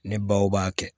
Ne baw b'a kɛ